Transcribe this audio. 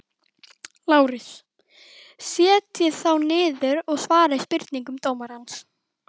LÁRUS: Setjist þá niður og svarið spurningum dómarans.